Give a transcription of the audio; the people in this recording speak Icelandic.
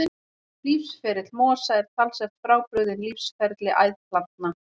Lífsferill mosa er talsvert frábrugðinn lífsferli æðplantna.